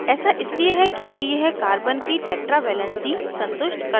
ऐसा इसलिए है क्योंकि यह carbon की tetra valency संतुष्ट करता है